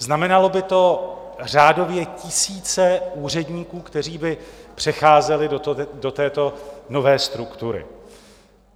Znamenalo by to řádově tisíce úředníků, kteří by přecházeli do této nové struktury.